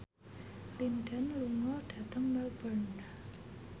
Lin Dan lunga dhateng Melbourne